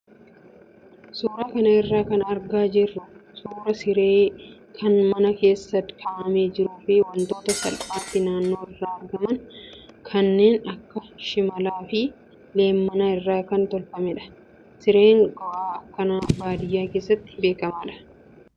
Suuraa kana irraa kan argaa jirru suuraa siree kan mana keessa kaa'amee jiruu fi wantoota salphaatti naannoo irraa argaman kanneen akka shimalaa fi leemmanaa irraa kan tolfamedha. Sireen goa akkanaa baadiyyaa keessatti beekamaadha.